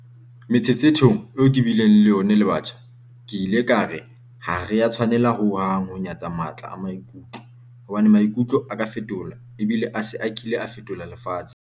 Metshetshethong eo ke bileng le yona le batjha, ke ile ka re ha re a tshwanela ho hang ho nyatsa matla a maikutlo, hobane maikutlo a ka fetola ebile a se a kile a fetola lefatshe.